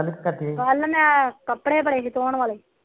ਕੱਲ ਮੈ ਕੱਪੜੇ ਬੜੇ ਸੀ ਧੋਣ ਵਾਲੇ